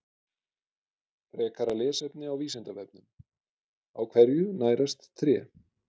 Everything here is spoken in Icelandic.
Frekara lesefni á Vísindavefnum: Á hverju nærast tré?